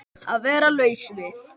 Að vera laus við